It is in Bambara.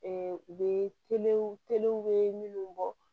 u bɛ bɛ minnu bɔ